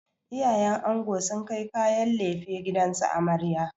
Iyayen ango sun kai kayan laife gidan amarya.